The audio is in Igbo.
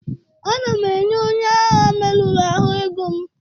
Ana m enye onye agha merụrụ ahụ ego m